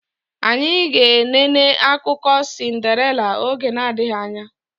Anyị ga enene akụkọ sindarela oge na adịghị anya